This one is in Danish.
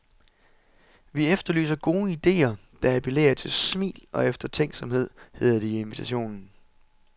Vi efterlyser gode ideer, der appellerer til smil og eftertænksomhed, hedder det i invitationen.